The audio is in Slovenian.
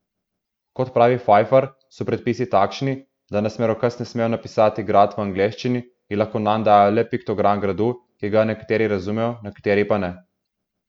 Kot pravi Fajfar, so predpisi takšni, da na smerokaz ne smejo napisati grad v angleščini in lahko nanj dajo le piktogram gradu, ki ga nekateri razumejo nekateri pa ne.